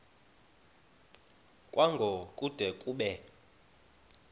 kwango kude kube